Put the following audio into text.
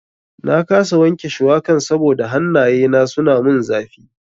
Na kasa wanke shuwakan saboda hannaye na suna mun zafi.